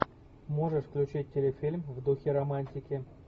можешь включить телефильм в духе романтики